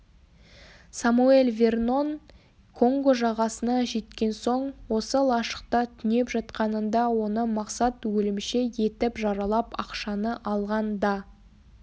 самоэль вернон конго жағасына жеткен соң осы лашықта түнеп жатқанында оны мақсат өлімші етіп жаралап ақшаны алған да